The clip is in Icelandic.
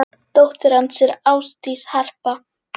Dóttir hans er Ásdís Harpa.